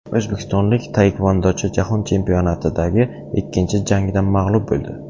O‘zbekistonlik taekvondochi Jahon chempionatidagi ikkinchi jangida mag‘lub bo‘ldi.